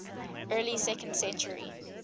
early second century